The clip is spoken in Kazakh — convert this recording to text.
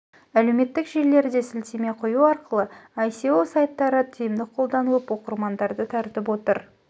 әлеуметтік желілерде сілтеме қою арқылы еіе аі аааіа сайттары тиімді қолданылып оқырманды тартып отыр